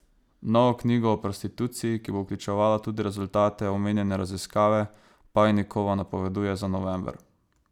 Novo knjigo o prostituciji, ki bo vključevala tudi rezultate omenjene raziskave, Pajnikova napoveduje za november.